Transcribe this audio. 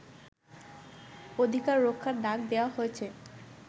অধিকার রক্ষার ডাক দেয়া হয়েছে